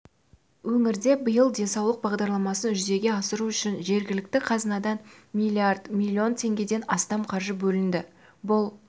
өңірде биыл денсаулық бағдарламасын жүзеге асыру үшін жергілікті қазынадан миллиард миллион теңгеден астам қаржы бөлінді бұл